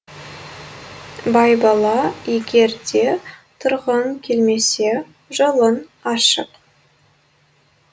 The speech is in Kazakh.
байбала егер де тұрғың келмесе жолың ашық